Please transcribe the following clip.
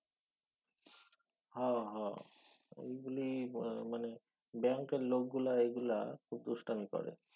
হ হ। ওইগুলি মানে ব্যাঙ্কের লোকগুলা এইগুলা খুব দুষ্টামি করে।